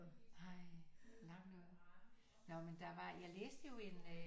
Nej langt ude nå men der var jeg læste jo en øh